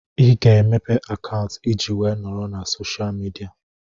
Ị ga-emepe akaụntụ ị ji wee nọrọ na soshal midia